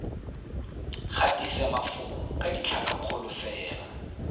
gatise mafoko ka ditlhakakgolo fela